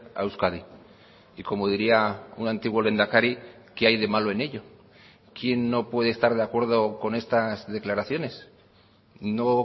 a euskadi y como diría un antiguo lehendakari qué hay de malo en ello quién no puede estar de acuerdo con estas declaraciones no